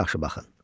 Yaxşı-yaxşı baxın.